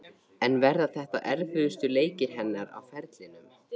En verða þetta erfiðustu leikir hennar á ferlinum?